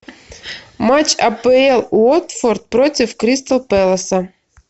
матч апл уотфорд против кристал пэласа